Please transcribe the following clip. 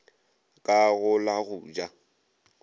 ka go la go ja